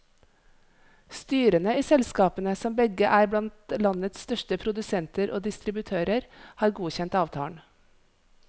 Styrene i selskapene, som begge er blant landets største produsenter og distributører, har godkjent avtalen.